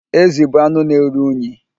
Ezi bụ anụ na-eru unyi.